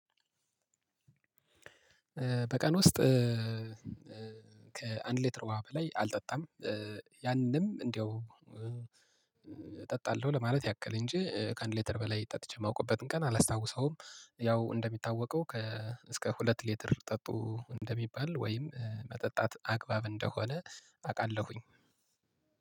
በቀን ውስጥ ከአንድ ሌትር ውሃ በላይ አልጠጣም። ያንንም እንደው እጠጣለሁ ለማለት ያክል እንጂ ከአንድ ሌትር በላይ ጠጥቼ የማውቅበትን ቀን አላስታውሰውም። ያው እንደሚታወቀው ከ እስከ ሁለት ሌትር ጠጡ እንደሚባል ወይም መጠጣት አግባብ እንደሆነ አውቃለሁኝ።